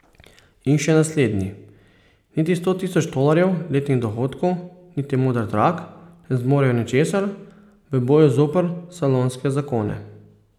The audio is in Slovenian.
In še naslednji: 'Niti sto tisoč tolarjev letnih dohodkov niti moder trak ne zmorejo ničesar v boju zoper salonske zakone.